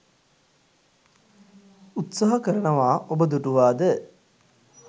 උත්සාහ කරනවා ඔබ දුටුවාද?